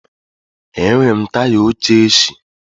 Enwere m taya óché éshị